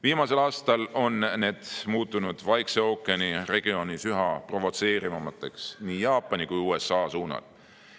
Viimastel aastatel on need muutunud Vaikse ookeani regioonis üha provotseerivamateks nii Jaapani kui ka USA suunal.